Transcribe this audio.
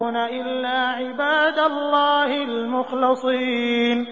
إِلَّا عِبَادَ اللَّهِ الْمُخْلَصِينَ